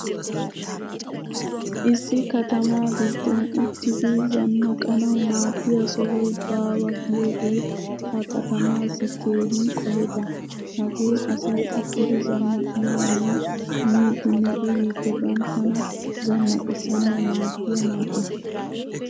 Issi katama giddon uttidi zannaqanawu maadiyaa sohoy bawa giyoge he katamasi keehin qoheta. Hagee asay uttidi zannaqanawunne miiddine uyiiddi banttana zannaqisanawu maadiyaa man'e.